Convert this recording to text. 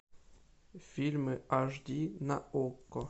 фильмы аш ди на окко